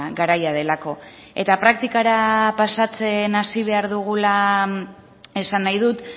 garaia delako eta praktikara pasatzen hasi behar dugula esan nahi dut